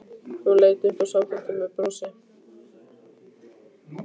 Hún leit upp og samþykkti með brosi.